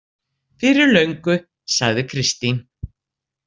Fyrir löngu, sagði Kristín.